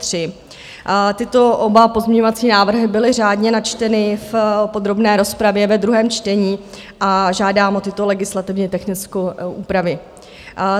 Tyto oba pozměňovací návrhy byly řádně načteny v podrobné rozpravě ve druhém čtení a žádám o tyto legislativně technické úpravy.